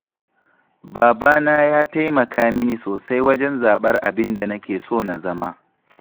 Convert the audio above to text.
Babana ya taikama mini sosai wajen zaɓar abin da nake so na zama.